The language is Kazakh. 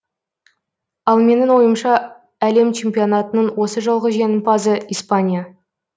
ал менің ойымша әлем чемпионатының осы жолғы жеңімпазы испания